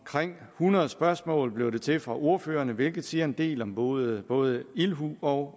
hundrede spørgsmål blev det til fra ordførerne hvilket siger en del om både både ildhu og